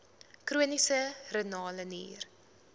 chroniese renale nier